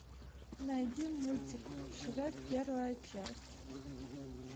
найди мультик шрек первая часть